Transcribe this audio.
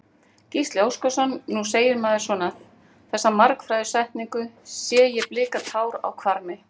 Gísli Óskarsson: Nú segir maður svona, þessa margfrægu setningu, sé ég blika tár á hvarmi?